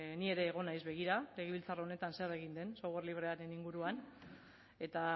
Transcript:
ni ere egon naiz begira legebiltzar honetan zer egin den software librearen inguruan eta